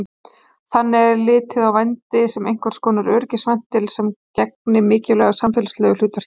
Þannig er litið á vændi sem einhvers konar öryggisventil sem gegni mikilvægu samfélagslegu hlutverki.